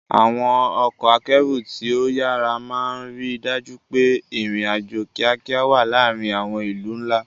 Àwọn ọkọ̀ akẹ́rù tí ó yára máa ń rí i dájú pé ìrìn-àjò kíákíá wà láàárín àwọn ìlú ńlá.